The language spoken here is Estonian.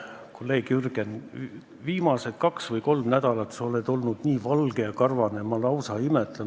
Kolleeg Jürgen, viimased kaks või kolm nädalat sa oled olnud nii valge ja karvane, et ma lausa imetlen.